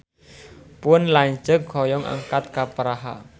Pun lanceuk hoyong angkat ka Praha